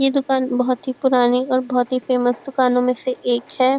यह दूकान बहुत ही पूरानी और बहुत ही फेमस दुकानों में से एक है।